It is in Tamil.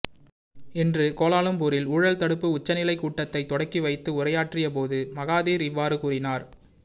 இன்று கோலாலும்பூரில் ஊழல்தடுப்பு உச்சநிலை கூட்டத்தைத் தொடக்கி வைத்து உரையாற்றியபோது மகாதிர் இவ்வாறு கூறினார்